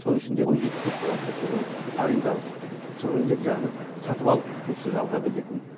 соның ішінде он жеті көпқабатты тұрғын үй арендалық тұрғын үйлер яғни сатып алу құқығынсыз жалға берілетін